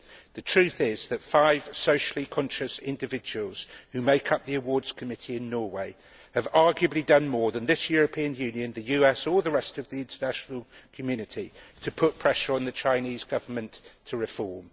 The truth is that five socially conscious individuals who make up the awards committee in Norway have arguably done more than this European Union, the US or the rest of the international community to put pressure on the Chinese Government to reform.